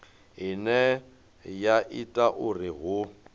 ine ya ita uri hu